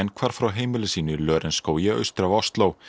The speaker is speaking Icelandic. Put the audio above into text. hvarf frá heimili sínu í Lørenskógi austur af Ósló